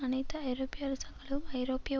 அனைத்து ஐரோப்பிய அரசாங்களும் ஐரோப்பிய